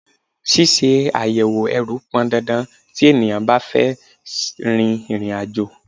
Ṣíṣe àyẹ̀wò ẹrù pọn dandan tí ènìyàn bá fẹ́ rin ìrìn àjò.